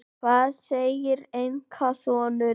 Hvað segir einkasonurinn?